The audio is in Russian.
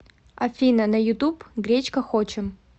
афина на ютуб гречка хочем